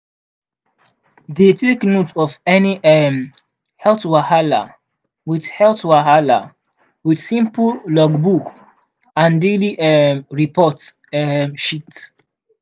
dey take note of any um health wahala with health wahala with simple logbook and daily um report um sheet.